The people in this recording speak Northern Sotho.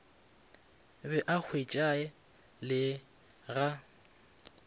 be a hwetšae le ga